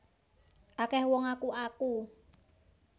Akeh wong ngaku aku